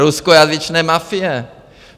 Ruskojazyčné mafie.